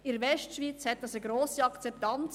In der Westschweiz hat dies eine grosse Akzeptanz;